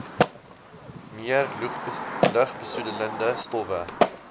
meer lugbesoedelende stowwe